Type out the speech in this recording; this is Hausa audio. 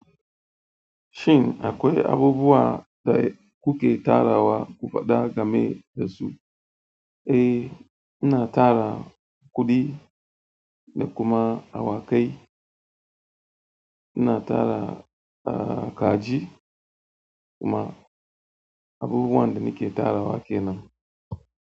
Shin akwai abubuwa da kuke tara wa kufa da game da su? Eh, ina tara kuɗi da kuma awakai. Ina tara kaji da kuma abubuwa da nake tara wa ke nan.